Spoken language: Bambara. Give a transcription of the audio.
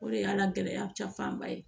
O de y'a gɛlɛya cafanba ye